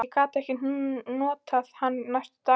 Ég gat ekkert notað hann næstu daga.